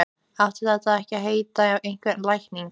Átti þetta að heita einhver lækning?